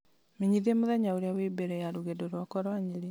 menyithia mũthenya ũrĩa wĩ mbere ya rũgendo rwakwa rwa nyeri